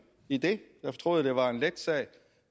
i den jeg troede det var en let sag